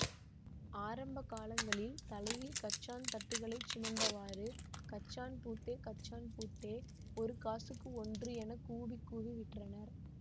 ஆரம்ப காலங்களில் தலையில் கச்சான் தட்டுகளைச் சுமந்தவாறு கச்சான் பூத்தே கச்சான் பூத்தே ஒரு காசுக்கு ஒன்று என கூவி கூவி விற்றனர்